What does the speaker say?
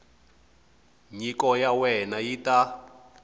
nyiko ya wena yi ta